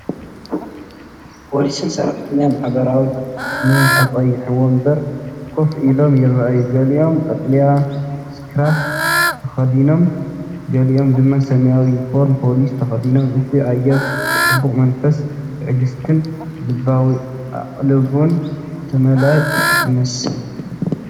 ፖሊስን ሰራሕተኛታት ማሕበራዊ ድሕነትን ኣብ ቀይሕ መንበር ኮፍ ኢሎም ይረኣዩ። ገሊኦም ቀጠልያ ስክራብ ተኸዲኖም፡ ገሊኦም ድማ ሰማያዊ ዩኒፎርም ፖሊስ ተኸዲኖም። እቲ ኣየር ብጽቡቕ መንፈስ ትዕግስትን ልባዊ ኣቓልቦን ዝተመልአ ይመስል።